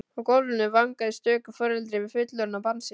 Á gólfinu vangaði stöku foreldri við fullorðið barn sitt.